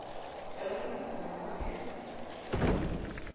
ka ba le tshusumetso e